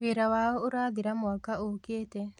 Wĩra wao ũrathira mwaka ũkĩte